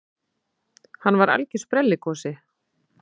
Hann var algjör sprelligosi.